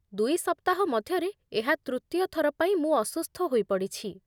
ଦୁଇ ସପ୍ତାହ ମଧ୍ୟରେ ଏହା ତୃତୀୟ ଥର ପାଇଁ ମୁଁ ଅସୁସ୍ଥ ହୋଇପଡ଼ିଛି।